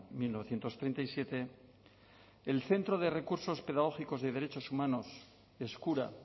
mil novecientos treinta y siete del centro de recursos pedagógicos de derechos humanos eskura